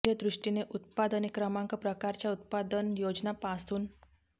मूल्य दृष्टीने उत्पादने क्रमांक प्रकारच्या उत्पादन योजना पासून ी